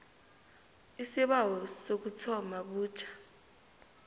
isibawo sokuthoma butjha